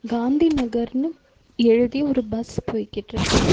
காந்தி நகர்னு எழுதிய ஒரு பஸ் போய்கிட்ருக்கு.